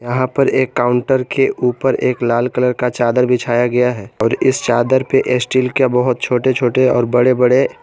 यहां पर एक काउंटर के ऊपर एक लाल कलर का चादर बिछाया गया है और इस चादर पे स्टील का बहुत छोटे छोटे और बड़े बड़े--